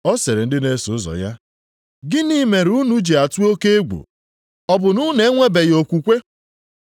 Ọ sịrị ndị na-eso ụzọ ya, “Gịnị mere unu ji atụ oke egwu? Ọ bụ na unu enwebeghị okwukwe?”